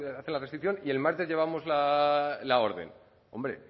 hace la restricción y el martes llevamos la orden hombre